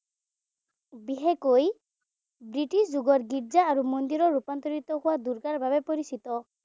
বিশেষকৈ ব্ৰিটিছ যুগত গীৰ্জা আৰু মন্দিৰৰ ৰূপান্তৰিত হোৱা দুৰ্গাৰ বাবে পৰিচিত।